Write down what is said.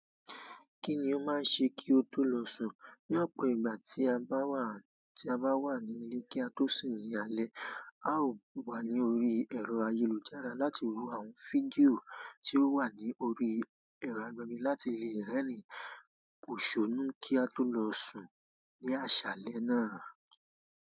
Kí ni ó máa ń ṣe kí ó tó lọ sùn? Ní ọ̀pọ̀ ìgbà tí a bá wà ní ilé kí a tó sùn ní alẹ́, a ó wà lórí ẹ̀rọ ayélujára láti wo àwọn fídíò tí ó wà lórí ẹ̀rọ agbẹ́mẹ́ láti lè rẹ́rìn-ín kò ṣónú kí a tó lọ sùn ní aṣálẹ́ náà.